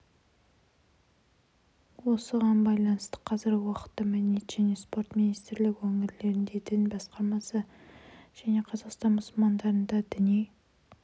осыған байланысты қазіргі уақытта мәдениет және спорт министрлігі өңірлердегі дін істері басқармалары мен қазақстан мұсылмандары діни